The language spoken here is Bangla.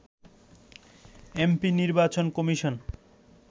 এমপি নির্বাচন কমিশন